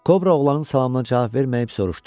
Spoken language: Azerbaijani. Kobra oğlanın salamına cavab verməyib soruşdu: